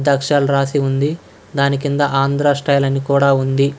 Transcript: అక్షరాలు రాసి ఉంది దాని కింద ఆంధ్ర స్టైల్ అని కూడా ఉంది.